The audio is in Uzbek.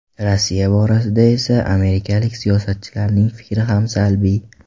Rossiya borasida esa amerikalik siyosatchilarning fikri ham salbiy.